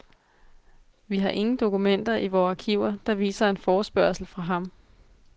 Vi har ingen dokumenter i vore arkiver, der viser en forespørgsel fra ham.